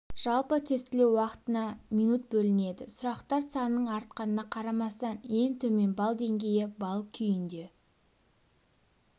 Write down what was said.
жалпы тестілеу уақытына минут бөлінеді сұрақтар санының артқанына қарамастан ең төмен балл деңгейі балл күйінде